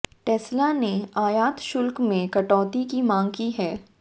Tesla ने आयात शुल्क में कटौती की मांग की है